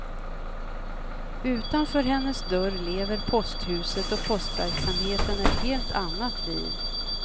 Utanför hennes dörr lever posthuset och postverksamheten ett helt annat liv.